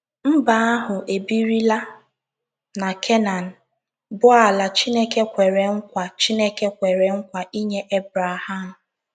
Mba ahụ ebirila na Kenan, bụ́ ala Chineke kwere nkwa Chineke kwere nkwa inye Ebreham.